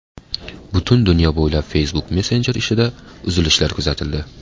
Butun dunyo bo‘ylab Facebook Messenger ishida uzilishlar kuzatildi.